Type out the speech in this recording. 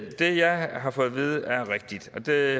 jeg har fået vide er rigtigt og det